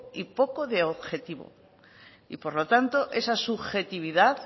y poco de objetivo y por lo tanto esa subjetividad